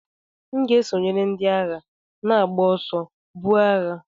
M ga-esonyere ndị agha na-agba ọsọ, buo agha.